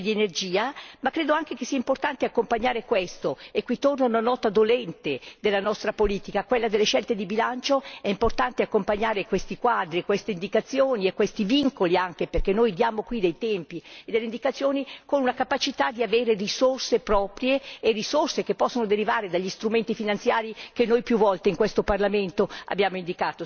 Ma credo anche che sia importante accompagnare tutto ciò e qui torna una nota dolente della nostra politica, quella delle scelte di bilancio è importante accompagnare questi quadri, queste indicazioni e questi vincoli perché noi diamo qui dei tempi e delle indicazioni con una capacità di dotarsi di risorse proprie e risorse che possono derivare dagli strumenti finanziari, che noi più volte in questo Parlamento abbiamo indicato, signor Presidente.